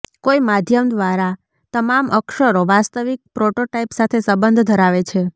કોઈ માધ્યમ દ્વારા તમામ અક્ષરો વાસ્તવિક પ્રોટોટાઇપ સાથે સંબંધ ધરાવે છે